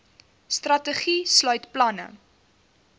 strategie sluit planne